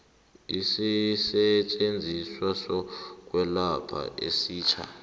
isisetjenziswa sokwelapha esitjha